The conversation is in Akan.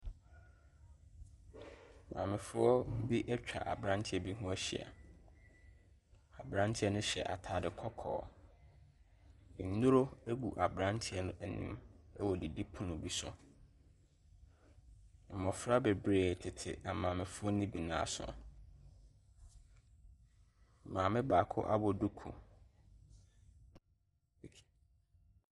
Nkrɔfoɔ bebree na egyina hɔ. Wɔretoto wɔn nsa. Wɔn akyi, nkrɔfo nso gyina hɔ a wɔn nyinaa hyɛ kyɛ fitaa.